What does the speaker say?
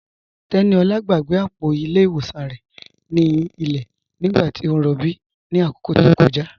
Teníolá gbàgbé apọ̀ ilẹ̀ iwọsàn rẹ̀ ni ilẹ̀ nígbàtí o n rọ̀bí ni akókó tó kọja.